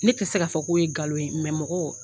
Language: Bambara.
Ne tɛ se k'a fɔ ko ye nkalon ye mɔgɔ